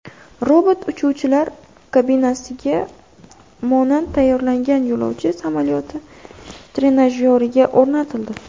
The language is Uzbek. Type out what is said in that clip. Robot uchuvchilar kabinasiga monand tayyorlangan yo‘lovchi samolyoti trenajyoriga o‘rnatildi.